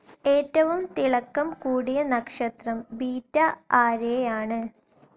ഏറ്റവും തിളക്കം കൂടിയ നക്ഷത്രം ബെട്ട ആരേയാണ്.